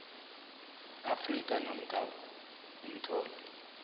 afrika namkha umtlolo